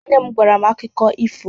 Nne m gwara m akụkọ ifo.